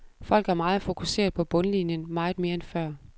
Folk er meget fokuseret på bundlinjen, meget mere end før.